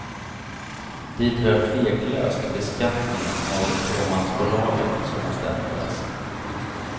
Dit hör tveklöst beskattningen av fåmansbolagen som måste ändras.